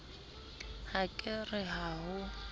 ha ke re ha ho